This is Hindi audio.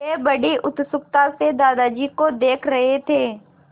वे बड़ी उत्सुकता से दादाजी को देख रहे थे